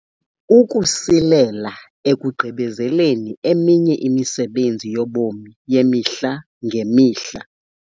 Ukusilela ekugqibezeleni eminye imisebenzi yobomi yemihla ngemihla.